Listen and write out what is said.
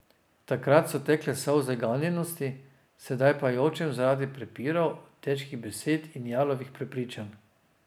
Takrat so tekle solze ganjenosti, sedaj pa jočem zaradi prepirov, težkih besed in jalovih prepričevanj.